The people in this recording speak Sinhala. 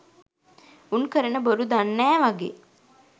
උන් කරන බොරු දන්නෑ වගෙ